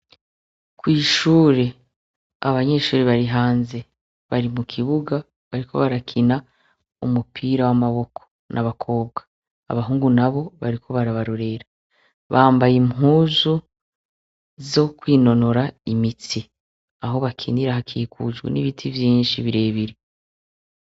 Kw'ishure, abanyeshure bari hanze. Bari mu kibuga bariko barakina umupira w'amaboko. Ni abakobwa. Abahungu nabo bariko barabarorera. Bambaye impuzu zo kwinonora imitsi. Aho bakinira hakikujwe n'ibiti vyinshi birebire.